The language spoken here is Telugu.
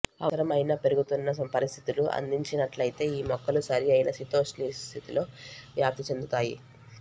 అవసరమైన పెరుగుతున్న పరిస్థితులు అందించినట్లయితే ఈ మొక్కలు సరిఅయిన శీతోష్ణస్థితిలో వ్యాప్తి చెందుతాయి